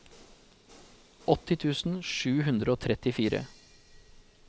åtti tusen sju hundre og trettifire